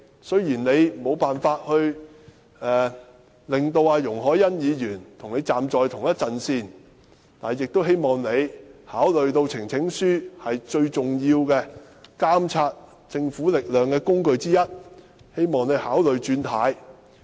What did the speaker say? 雖然她無法令到容海恩議員跟她站在同一陣線，但亦希望她考慮到呈請書是監察政府的最重要工具之一，因而考慮"轉軚"。